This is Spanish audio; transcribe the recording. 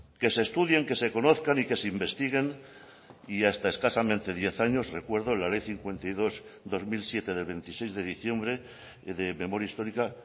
que se estudien que se conozcan y que se investiguen y hasta escasamente diez años recuerdo la ley cincuenta y dos barra dos mil siete de veintiséis de diciembre de memoria histórica